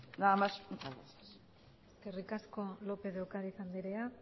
nada más muchas gracias eskerrik asko lópez de ocariz andrea